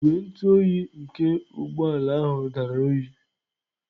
Igwe ntụ oyi nke ụgbọ ala ahụ dara oyi.